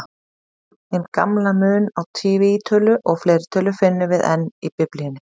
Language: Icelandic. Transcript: Hinn gamla mun á tvítölu og fleirtölu finnum við enn í Biblíunni.